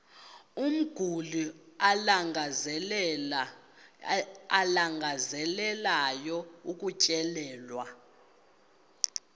umguli alangazelelayo ukutyelelwa